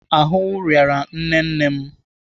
Ahụ rịara nne nne m.